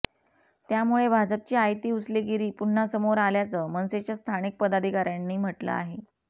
त्यामुळे भाजपची आयती उचलेगिरी पुन्हा समोर आल्याचं मनसेच्या स्थानिक पदाधिकाऱ्यांनी म्हटलं आहे